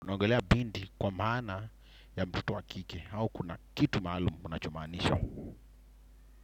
Unaogelea binti kwa maana ya mtoto wa kike au kuna kitu maalumu unachomaanisha.